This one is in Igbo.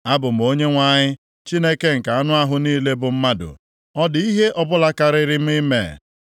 “Abụ m Onyenwe anyị, Chineke nke anụ ahụ niile bụ mmadụ. Ọ dị ihe ọbụla karịrị m ime?